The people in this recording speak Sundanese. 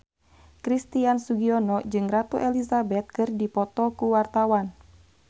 Christian Sugiono jeung Ratu Elizabeth keur dipoto ku wartawan